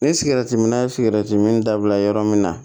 Ni sigɛritiminna ye sigɛrɛti min dabila yɔrɔ min na